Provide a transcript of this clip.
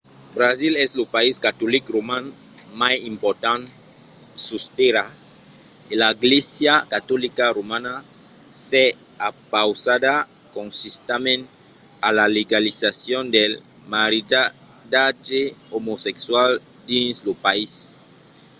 brasil es lo país catolic roman mai important sus tèrra e la glèisa catolica romana s’es opausada consistentament a la legalizacion del maridatge omosexual dins lo país